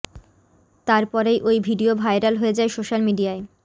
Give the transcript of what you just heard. তার পরেই ওই ভিডিয়ো ভাইরাল হয়ে যায় সোশ্যাল মিডিয়ায়